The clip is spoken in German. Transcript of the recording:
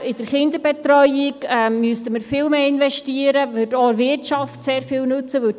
In die Kinderbetreuung müsste man viel mehr investieren, was auch der Wirtschaft sehr viel nützen würde.